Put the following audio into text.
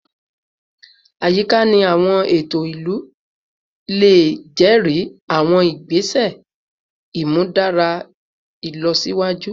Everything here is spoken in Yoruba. Ayika ni awọn eto ilu le jẹri awọn igbese imudara ilọsiwaju